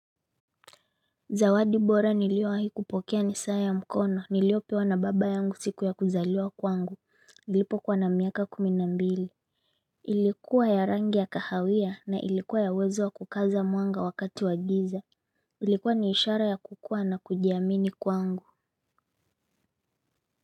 Zawadi bora niliowahi kupokea ni saa ya mkono niliopewa na baba yangu siku ya kuzaliwa kwangu nilipokuwa na miaka kumi na mbili. Ilikuwa ya rangi ya kahawia na ilikuwa ya uwezo wa kukaza mwanga wakati wa giza. Ilikuwa ni ya ishara ya kukua na kujiamini kwangu.